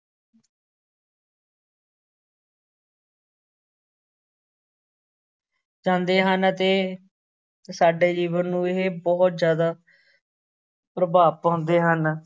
ਜਾਂਦੇ ਹਨ ਅਤੇ ਸਾਡੇ ਜੀਵਨ ਨੂੰ ਵੀ ਇਹ ਬਹੁਤ ਜ਼ਿਆਦਾ ਪ੍ਰਭਾਵ ਪਾਉਂਦੇ ਹਨ।